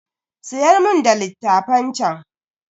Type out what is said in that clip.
Siyar mun da littafan chan.